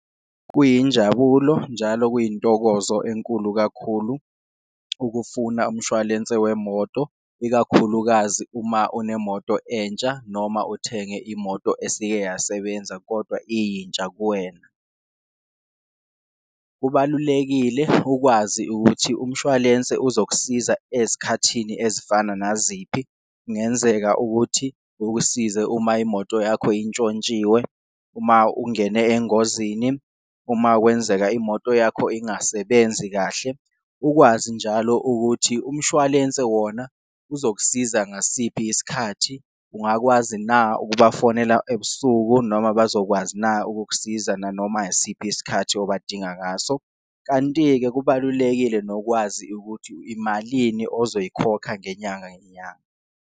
Kuyinjabulo njalo kuyintokozo enkulu kakhulu ukufuna umshwalense wemoto, ikakhulukazi uma unemoto entsha noma uthenge imoto esike yasebenza kodwa iyintsha kuwena. Kubalulekile ukwazi ukuthi umshwalense uzokusiza ezikhathini ezifana naziphi, kungenzeka ukuthi ukusize uma imoto yakho intshontshiwe, uma ungene engozini, uma kwenzeka imoto yakho ingasebenzi kahle. Ukwazi njalo ukuthi umshwalense wona uzokusiza ngasiphi isikhathi, ungakwazi na ukubafonela ebusuku noma abazokwazi na ukukusiza nanoma isiphi isikhathi obadinga ngaso. Kanti-ke kubalulekile nokwazi ukuthi imalini ozoyikhokha ngenyanga nenyanga.